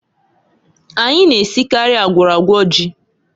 Anyị na-esikarị agwọrọ agwọ ji.